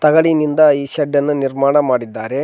ತಗಡಿನಿಂದ ಈ ಶೆಡ್ಡನ್ನು ನಿರ್ಮಾಣ ಮಾಡಿದ್ದಾರೆ.